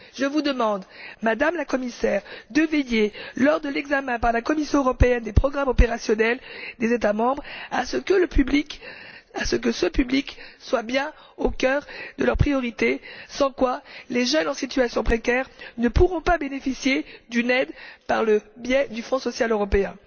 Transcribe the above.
Je vous demande, Madame la Commissaire, de veiller, lors de l'examen, par la Commission européenne, des programmes opérationnels des États membres, à ce que ce public soit bien au cœur de leurs priorités, sans quoi les jeunes en situation précaire ne pourront pas bénéficier d'une aide par le biais du Fonds social européen.